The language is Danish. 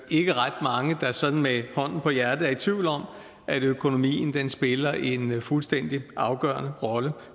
ikke ret mange der sådan med hånden på hjertet er i tvivl om at økonomien spiller en fuldstændig afgørende rolle